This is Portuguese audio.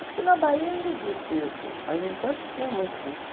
Acho que na Bahia ainda existe isso, mas em Santos tinha muito disso.